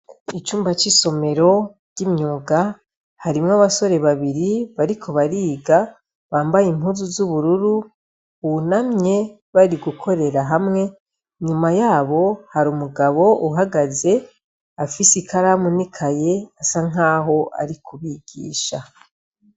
Icumba c'isomero ry'imyuga harimwo abasore babiri bariko bariga bambaye impuzu z'ubururu bunamye bari gukorera hamwe. Inyuma yabo har'umugabo uhagaze ufise ikaramu n'ikaye bisa nkaho arikubigisha.